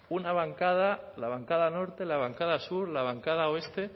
una bancada la bancada norte la bancada sur la bancada oeste